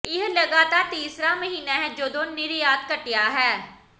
ਇਹ ਲਗਾਤਾਰ ਤੀਸਰਾ ਮਹੀਨਾ ਹੈ ਜਦੋਂ ਨਿਰਯਾਤ ਘਟਿਆ ਹੈ